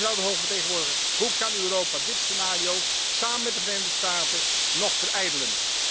Mevrouw de hoge vertegenwoordiger, hoe kan Europa dit scenario samen met de Verenigde Staten nog verijdelen?